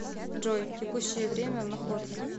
джой текущее время в находке